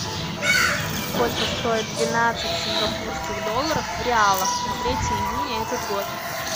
сколько стоит двенадцать сингапурских долларов в реалах на третье июня этот год